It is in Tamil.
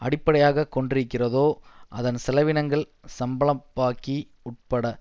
அடிப்படையாக கொண்டிருக்கிறதோ அதன் செலவினங்கள் சம்பளப்பாக்கி உட்பட